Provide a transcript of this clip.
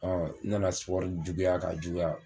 n nana juguya k'a juguya